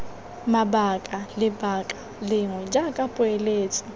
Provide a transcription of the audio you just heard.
mabaka lebaka lengwe jaaka poeletso